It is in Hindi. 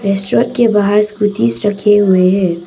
रेस्टोरेंट के बाहर स्कूटी रखे हुए हैं।